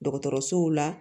Dɔgɔtɔrɔsow la